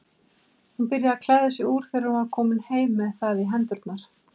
Hún byrjaði að klæða sig úr þegar hún var komin með það í hendurnar.